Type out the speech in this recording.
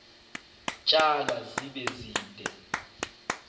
tsalwa zibe zide